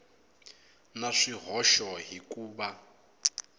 na swihoxo hi ku va